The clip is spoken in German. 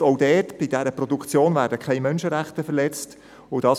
Auch da wird vorausgesetzt, dass keine Menschenrechte verletzt werden.